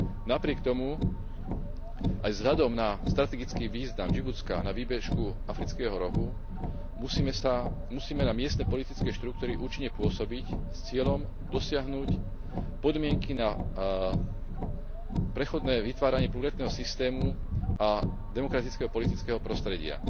Napriek tomu aj vzhľadom na strategický význam Džibutska na výbežku Afrického rohu musíme na miestne politické štruktúry účinne pôsobiť s cieľom dosiahnuť podmienky na prechodné vytváranie pluralitného systému a demokratického politického prostredia.